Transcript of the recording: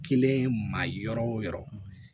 Kelen ma yɔrɔ o yɔrɔ